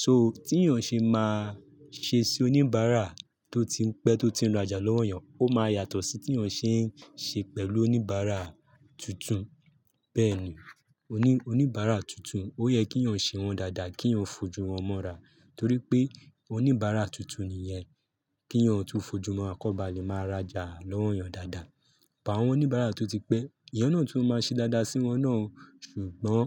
So tí èèyàn ṣe máa ṣe sí oníbàárà tó ti ń pẹ́, tó ti ń rajà lọ́wọ́ èèyàn, ó máa yàtọ̀ sí tí èèyàn ṣe ń ṣe pẹ̀lú oníbàárà tuntun. Bẹ́ẹ̀ni, oní-oníbàárà tuntun ó yẹ kí èèyàn ṣe wọ́n dáadáa, kí èèyàn fojú wọ́n mọ́ra torí pé oníbàárà tuntun nìyẹn. Kí èèyàn tún fojú mọ́ akọ́ba lè máa rajà lọ́wọ́ èèyàn dáadáa. Àwọn oníbàárà tó ti pẹ́, ìyẹn náà tún ó máa ṣe dáadáa sí wọ́n náà, ṣùgbọ́n